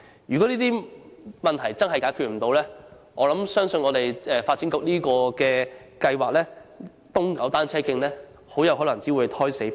如果這些問題無法解決，我相信發展局"東九單車徑"的計劃很有可能會胎死腹中。